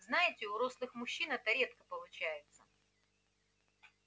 знаете у рослых мужчин это редко получается